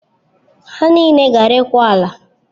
Ha niile gara ịkwa ala.